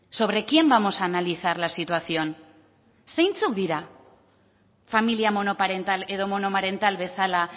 sobre quién vamos a analizar la situación zeintzuk dira familia monoparental edo monomarental bezala